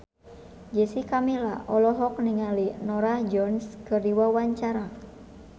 Jessica Milla olohok ningali Norah Jones keur diwawancara